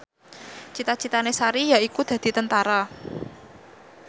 cita citane Sari yaiku dadi Tentara